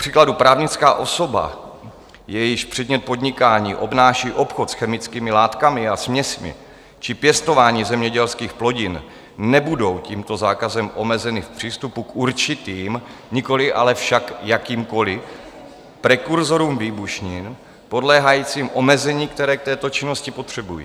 Kupříkladu právnická osoba, jejíž předmět podnikání obnáší obchod s chemickými látkami a směsmi či pěstování zemědělských plodin, nebudou tímto zákazem omezeny v přístupu k určitým, nikoli ale však jakýmkoli prekurzorům výbušnin podléhajícím omezení, které k této činnosti potřebují.